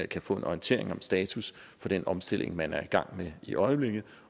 kan få en orientering om status for den omstilling man er i gang med i øjeblikket